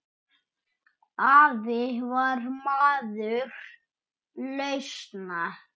Afi var maður lausna.